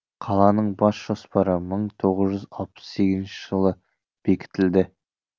қаланың бас жоспары мың тоғыз жүз алпыс сегізінші жылы бекітілді